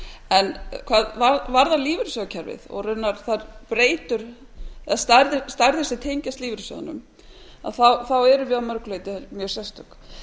en hvað varðar lífeyrissjóðakerfið og raunar þær stærðir sem tengjast lífeyrissjóðunum á erum við að mörgu leyti mjög sérstök